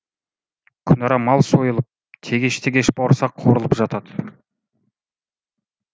күнара мал сойылып тегеш тегеш бауырсақ қуырылып жатады